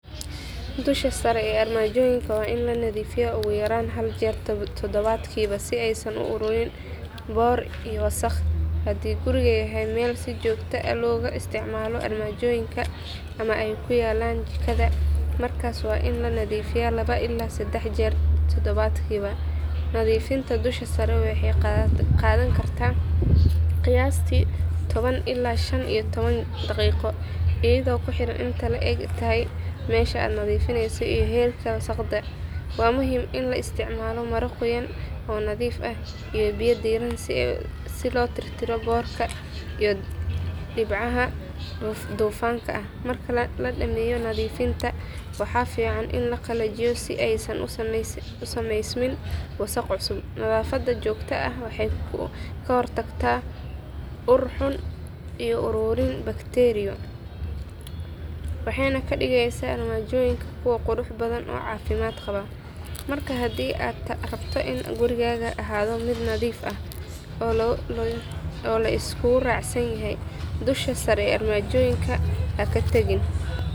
Dusha sare ee armajoyinka waa in la nadiifiyaa ugu yaraan hal jeer toddobaadkii si aysan u ururin boodh iyo wasakh. Haddii gurigu yahay meel si joogto ah looga isticmaalo armajoyinka ama ay ku yaallaan jikada, markaas waa in la nadiifiyaa laba ilaa saddex jeer toddobaadkii. Nadiifinta dusha sare waxay qaadan kartaa qiyaastii toban ilaa shan iyo toban daqiiqo iyadoo ku xiran inta ay le'eg tahay meesha la nadiifinayo iyo heerka wasakhda. Waa muhiim in la isticmaalo maro qoyan oo nadiif ah iyo biyo diirran si loo tirtiro boodhka iyo dhibcaha dufanka ah. Marka la dhammeeyo nadiifinta waxaa fiican in la qalajiyo si aysan u samaysmin wasakh cusub. Nadaafadda joogtada ah waxay ka hortagtaa ur xun iyo ururin bakteeriyo, waxayna ka dhigaysaa armajoyinka kuwo qurux badan oo caafimaad qaba. Marka haddii aad rabto in gurigaagu ahaado mid nadiif ah oo la isku raacsan yahay, dusha sare ee armajoyinka ha ka tagin.